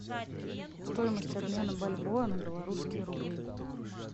стоимость обмена бальбоа на белорусские рубли